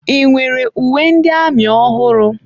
Ị nwere uwe ndị amị ọhụrụ?